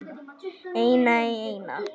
Eina í eina.